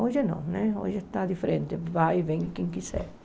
Hoje não, né hoje está diferente, vai e vem quem quiser.